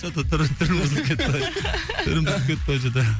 что то түрің түрің бұзылып кетті ғой түрің бұзылып кетті ғой что то